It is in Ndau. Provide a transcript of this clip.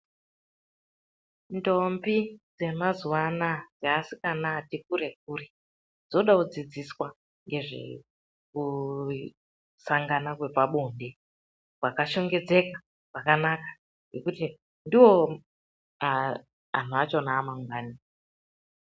Ndombi dzemazuva anawa nevasikana vatikure kure dzoda kudzidziswa ngezvekusangana kwepabonde kwakachengetedzeka kwakanaka nokuti ndoanu achona amangwani.